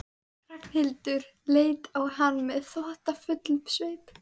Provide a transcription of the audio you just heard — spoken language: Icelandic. Ragnhildur leit á hann með þóttafullum svip.